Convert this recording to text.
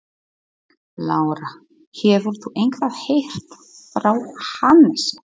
Lára: Hefur þú eitthvað heyrt frá Hannesi?